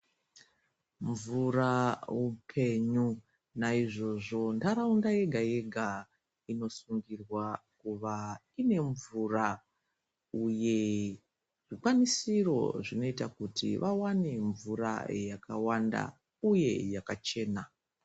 Mvura upenyu naizvozvo nharaunda yegayega inosungirwa kuva inemvura uye zvikwanisiro zvinoita kuti vawane mvura yakawanda uye yakachena.